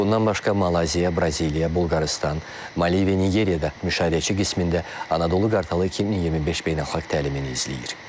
Bundan başqa Malayziya, Braziliya, Bolqarıstan, Maliviya, Nigeriya da müşahidəçi qismində Anadolu Qartalı 2025 beynəlxalq təlimini izləyir.